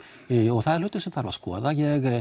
og það er hlutur sem þarf að skoða